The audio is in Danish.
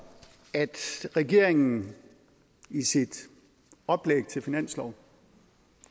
at regeringen i sit oplæg til finanslov